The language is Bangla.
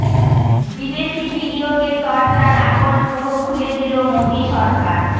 বিদেশি বিনিয়োগের দরজার আগল পুরো খুলে দিল মোদী সরকার